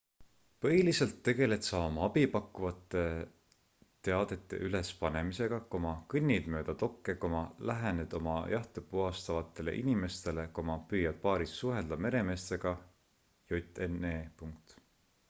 põhiliselt tegeled sa oma abi pakkuvate teadete üles panemisega kõnnid mööda dokke lähened oma jahte puhastavatele inimestele püüad baaris suhelda meremeestega jne